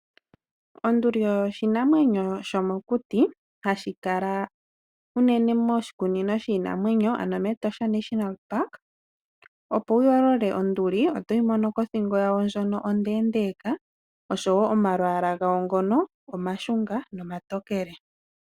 Onduli oshinamwenyo shomokuti hashi kala uunene moshikunino shiinamwenyo ano me Etosha National Park , opo wuyoolole onduli otoyi mono kothingo yayo ndjono ondeendeka oshowo omayala gayo ngono oma shunga noma tokele .